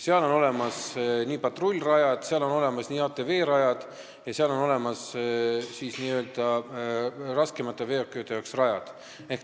Seal on olemas patrullrajad, seal on olemas ATV-rajad, seal on olemas rajad raskemate veokite jaoks.